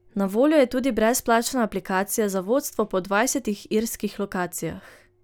Na voljo je tudi brezplačna aplikacija za vodstvo po dvajsetih irskih lokacijah.